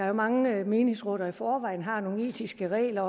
jo mange menighedsråd der i forvejen har nogle etiske regler